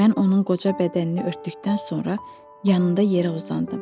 Mən onun qoca bədənini örtdükdən sonra yanında yerə uzandım.